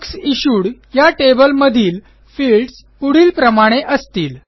books issued या टेबलमधील fields पुढीलप्रमाणे असतील